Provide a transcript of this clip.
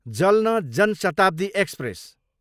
जल्न जान शताब्दी एक्सप्रेस